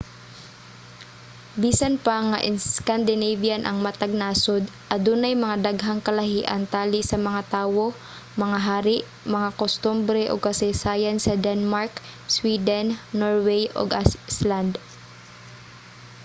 bisan pa nga 'scandinavian' ang matag nasod adunay mga daghang kalahian tali sa mga tawo mga hari mga kustombre ug kasaysayan sa denmark sweden norway ug iceland